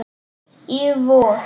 Í vor.